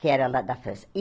que era lá da França.